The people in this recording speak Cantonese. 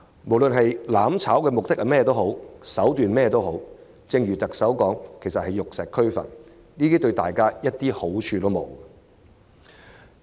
無論"攬炒"的目的和手段為何，正如特首所言，其實是玉石俱焚，對大家毫無好處。